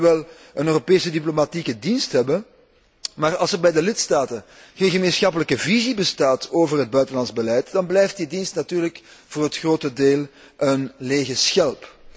We kunnen nu wel een Europese diplomatieke dienst hebben, maar als er bij de lidstaten geen gemeenschappelijke visie bestaat over het buitenlands beleid, dan blijft die dienst natuurlijk voor een groot deel een lege schelp.